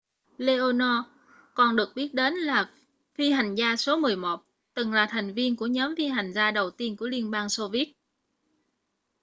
leonov còn được biết đến là phi hành gia số 11 từng là thành viên của nhóm phi hành gia đầu tiên của liên bang xô viết